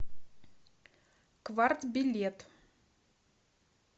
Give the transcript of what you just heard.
кварт билет